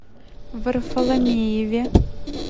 варфоломееве